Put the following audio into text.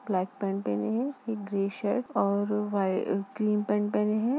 Black pant पहने है। एक ग्रे शर्ट और क्रीम पेन्ट पहने हैं।